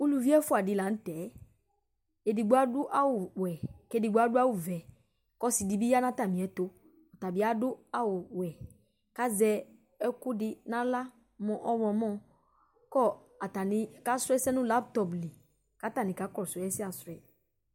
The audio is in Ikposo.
Uluvi ɛfʋa dɩ la nʋ tɛ Edigbo adʋ awʋwɛ kʋ edigbo adʋ awʋvɛ kʋ ɔsɩ dɩ bɩ ya nʋ atamɩɛtʋ Ɔta bɩ adʋ awʋwɛ kʋ azɛ ɛkʋ dɩ nʋ aɣla mʋ ɔɣlɔmɔ kʋ ɔ atanɩ kasʋ ɛsɛ nʋ laptɔp li kʋ atanɩ kakɔsʋ ɛsɛasʋ yɛ